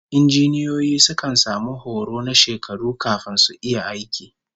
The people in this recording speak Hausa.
Injiniyoyi sukan samu horo na shekaru kafin su iya aiki